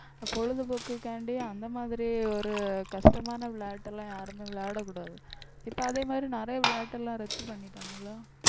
பொழுதுபோக்குக்காண்டி அந்த மாதிரி ஒரு கஷ்டமான விளையாட்டு எல்லாம் யாருமே விளையாடக்கூடாது. இப்ப அதே மாதிரி நிறைய விளையாட்டு எல்லாம் ரத்து பண்ணிட்டாங்கல்ல